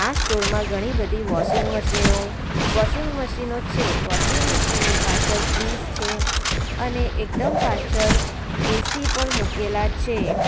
Store માં ઘણી બધી વોશિંગ મશીનો વોશિંગ મશીનો છે ની પાછળ ફ્રીજ છે અને એકદમ પાછળ એ_સી પણ મુકેલા છે.